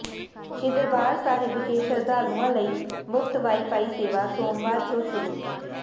ਸ੍ਰੀ ਦਰਬਾਰ ਸਾਹਿਬ ਵਿਖੇ ਸ਼ਰਧਾਲੂਆਂ ਲਈ ਮੁਫਤ ਵਾਈਫਾਈ ਸੇਵਾ ਸੋਮਵਾਰ ਤੋਂ ਸ਼ੁਰੂ